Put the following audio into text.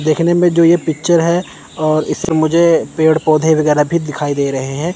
देखने में जो ये पिक्चर है और इसमें मुझे पेड़ पौधे वगैरा भी दिखाई दे रहे हैं।